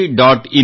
in